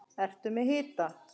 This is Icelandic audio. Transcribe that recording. Ertu með hita?